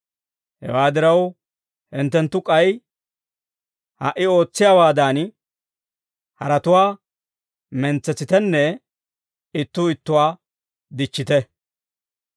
Hewaa diraw, hinttenttu k'ay ha"i ootsiyaawaadan, haratuwaa mentsetsitenne ittuu ittuwaa dichchite.